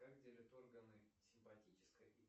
как делят органы обр